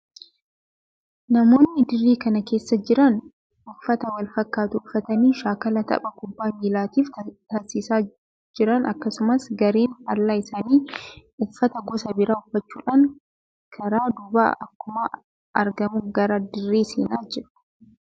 Namoonni dirree kana keessa jiran uffata wal fakkaataa uffatanii shaakala tapha kubbaa miilaatiif taasisaa jiran akkasumas gareen faallaa isaanii uffata gosa biraa uffachuudhaan karaa duubaa akkuma argamu gara dirree seenaa jiru.